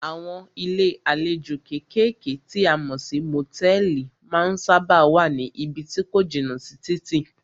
Àwọn ilé àlejò kékèké tí a mọ̀ sí motẹ̀ẹ̀li má ń sábáà wá ní ibí tí ko jìnà sí títì.